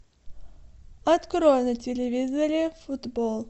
открой на телевизоре футбол